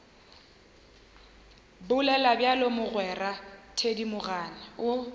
bolela bjalo mogwera thedimogane o